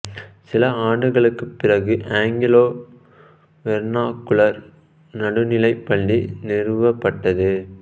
சில ஆண்டுகளுக்குப் பிறகு ஆங்கிலோ வெர்னாகுலர் நடுநிலைப் பள்ளி நிறுவப்பட்டது